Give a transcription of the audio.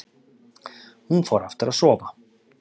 Hún fór aftur að sofa.